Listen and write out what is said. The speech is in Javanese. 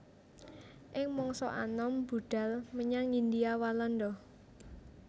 Ing mangsa anom budhal menyang Hindia Walanda